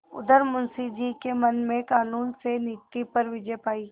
उधर मुंशी जी के मन ने कानून से नीति पर विजय पायी